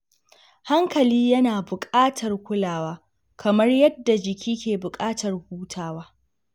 Hankali yana buƙatar kulawa kamar yadda jiki ke buƙatar hutawa.